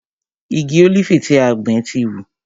Igi ólífì tí a gbìn ti hù.